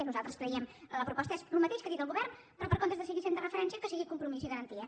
i nosaltres creiem que la proposta és el mateix que ha dit el govern però per comptes de seguir sent de referència que sigui compromís i garantia